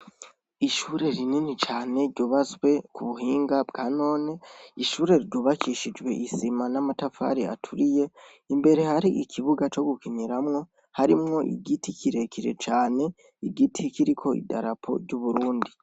Ishure rinini cane ryubatswe ku buhinga bwa none ishure ryubakishijwe isima n' amatafari aturiye, imbere hari ikibuga co gukiniramwo harimwo igiti kire kire cane igiti kiriko idarapo ry' Uburundi.